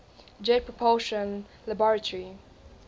jet propulsion laboratory